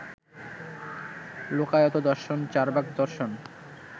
লোকায়ত দর্শন চার্বাক দর্শন